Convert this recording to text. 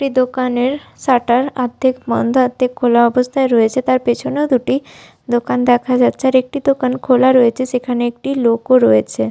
দোকানের শাটার আর্ধেক বন্দ আর্ধেক খোলা অবস্থায় রয়েছে তার পেছনেও দুটি দোকান দেখা যাচ্ছে আর একটি দোকান খোলা রয়েছে সেখানে একটি লোক ও রয়েছে।